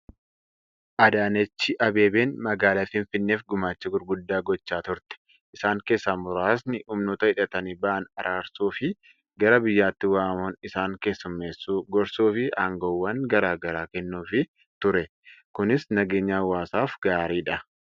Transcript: Adaanechi Abbabeen magaalaa Finfinneef gumaacha gurguddaa gochaa turte. Isaan keessaa muraasni humnoota hidhatanii bahan araarsuu fi gara biyyaatti waamuun isaan keessummeessuu, gorsuu fi aangoowwan garaa garaa kennuufii ture. Kunis nageenya hawaasaaf gaariidha.